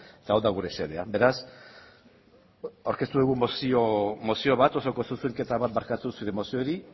eta hau da gure xedea beraz aurkeztu dugun mozio bat osoko zuzenketa bat bakartu zure moziori